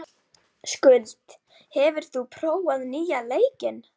Skuld, hefur þú prófað nýja leikinn?